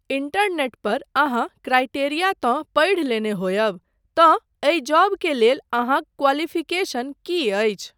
Internet पर अहाँ criteria तँ पढ़ि लेने होयब तँ एहि जॉब के लेल अहाँक क्वालिफिकेशन की अछि ?